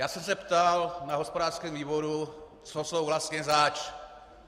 Já jsem se ptal na hospodářském výboru, co jsou vlastně zač.